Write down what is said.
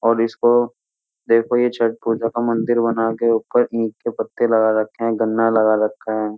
और इसको देखो ये छठ पूजा का मंदिर बनाके ऊपर ईख के पत्ते लगा रखे हैं। गन्ना लगा रखे हैं।